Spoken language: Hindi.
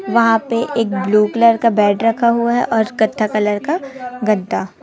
वहां पे एक ब्लू कलर का बेड रखा हुआ है और कत्था कलर का गद्दा।